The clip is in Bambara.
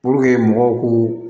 mɔgɔw k'u